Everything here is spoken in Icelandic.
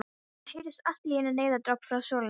Það heyrðist allt í einu neyðaróp frá svölunum.